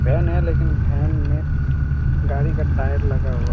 When हैं लेकिन van न गाड़ी का टायर लगा हुआ हैं।